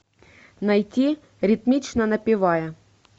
найти ритмично напевая